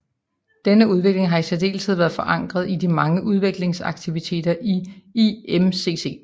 Denne udvikling har i særdeleshed været forankret i de mange udvekslingsaktiviteter i IMCC